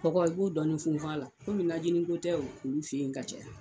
Kɔgɔ i b'o dɔɔnin funfun a la komi najininko tɛ olu fɛ yen ka caya